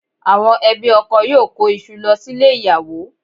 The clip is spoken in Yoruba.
Àwọn ẹbí ọkọ yóò kó iṣu lọ sílé ìyàwó